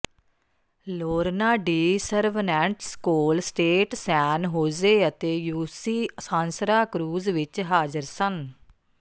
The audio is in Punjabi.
Lorna Dee Cervantes Cal State San Jose ਅਤੇ ਯੂਸੀ ਸਾਂਸਰਾ ਕ੍ਰੂਜ਼ ਵਿਚ ਹਾਜ਼ਰ ਸਨ